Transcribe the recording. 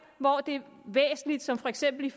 hvor det er væsentligt som for eksempel i